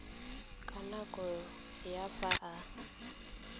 ka nako ya fa a